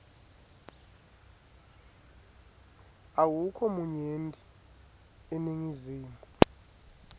awukho munyenti eningizimu